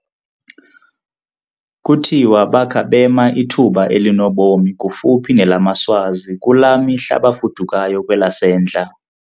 Kuthiwa bakha bema ithuba elinobomi kufuphi nelamaSwazi kulaa mihla bafudukayo kwelasentla.